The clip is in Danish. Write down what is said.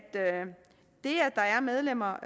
det at der er medlemmer